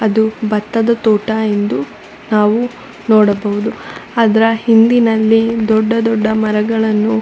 ಅದು ಬತ್ತದ ತೋಟ ಎಂದು ನಾವು ನೋಡಬಹುದು ಅದರ ಹಿಂದಿನಲ್ಲಿ ದೊಡ್ಡ ದೊಡ್ಡ ಮರಗಳನ್ನು--